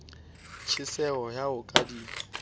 tjheseho ya ho ka di